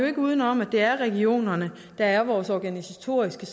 ikke udenom at det er regionerne der er vores organisatoriske